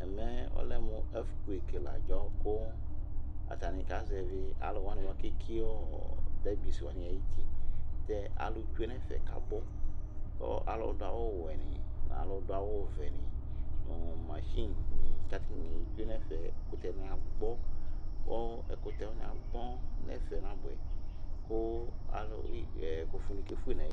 ɛmɛ ɔlɛmʋ earthquake la adzɔ kʋ atani kazɛvi alʋ wani bʋakʋ ɛkiɔ debris wani ayiti, ɛtɛ alʋ twɛnʋ ɛƒɛ kʋ abʋ kʋ alʋ dʋ awʋ wɛni nʋ alʋ dʋ awʋ vɛ ni nʋmachine ni twɛnʋ ɛƒɛ, ɛkʋtɛ ni agbɔ kʋ ɛkʋtɛ wani agbɔ nʋ ɛƒɛ nabʋɛ kʋ ɛkʋƒʋ ni kɛƒʋɛ nʋ ayili